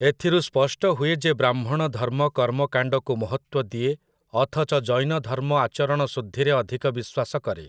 ଏଥିରୁ ସ୍ପଷ୍ଟ ହୁଏ ଯେ ବ୍ରାହ୍ମଣ ଧର୍ମ କର୍ମକାଣ୍ଡକୁ ମହତ୍ତ୍ୱ ଦିଏ ଅଥଚ ଜୈନଧର୍ମ ଆଚରଣଶୁଦ୍ଧିରେ ଅଧିକ ବିଶ୍ଵାସ କରେ ।